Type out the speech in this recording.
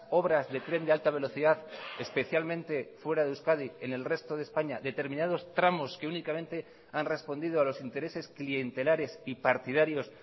obras de tren de alta velocidad especialmente fuera de euskadi en el resto de españa determinados tramos que únicamente han respondido a los intereses clientelares y partidarios